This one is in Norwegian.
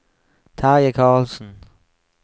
Terje Carlsen